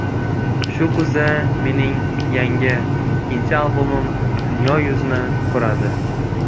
Shu kuzda mening yangi, ikkinchi albomim dunyo yuzini ko‘radi.